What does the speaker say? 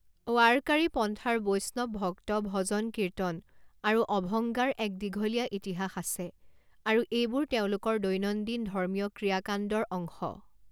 ৱাৰকাৰী পন্থাৰ বৈষ্ণৱ ভক্ত ভজন কীৰ্তন আৰু অভংগাৰ এক দীঘলীয়া ইতিহাস আছে আৰু এইবোৰ তেওঁলোকৰ দৈনন্দিন ধৰ্মীয় ক্ৰিয়া কাণ্ডৰ অংশ।